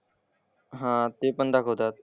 हां ते पण दाखवतात.